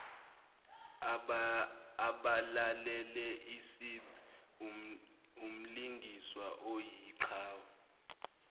abalaleleisib umlingiswa oyiqhawe